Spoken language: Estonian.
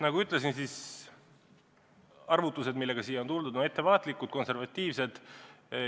Nagu ma ütlesin, siis arvutused, millega me oleme siia tulnud, on ettevaatlikud, konservatiivsed.